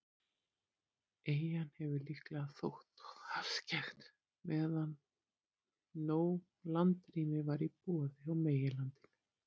Eyjan hefur líklega þótt of afskekkt, meðan nóg landrými var í boði á meginlandinu.